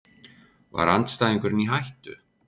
Var andstæðingurinn í hættu?